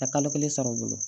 Ka kalo kelen sɔrɔ u bolo